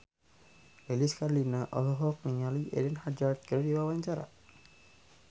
Lilis Karlina olohok ningali Eden Hazard keur diwawancara